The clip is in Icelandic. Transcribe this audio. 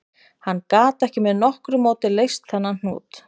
Hann gat ekki með nokkru móti leyst þennan hnút